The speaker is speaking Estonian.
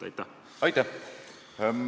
Aitäh!